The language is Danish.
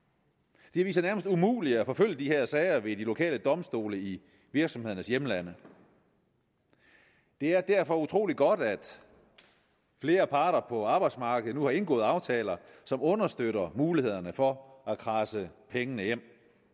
det viser sig nærmest umuligt at forfølge de her sager ved de lokale domstole i virksomhedernes hjemlande det er derfor utrolig godt at flere parter på arbejdsmarkedet nu har indgået aftaler som understøtter mulighederne for at kradse pengene hjem